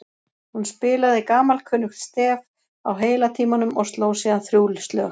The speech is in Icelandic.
Hún spilaði gamalkunnugt stef á heila tímanum og sló síðan þrjú slög.